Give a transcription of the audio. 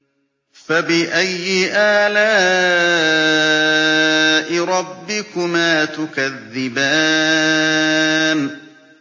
فَبِأَيِّ آلَاءِ رَبِّكُمَا تُكَذِّبَانِ